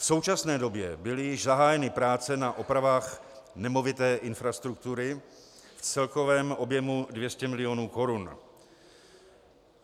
V současné době byly již zahájeny práce na opravách nemovité infrastruktury v celkovém objemu 200 mil. korun.